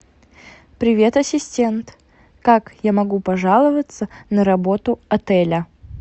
привет ассистент как я могу пожаловаться на работу отеля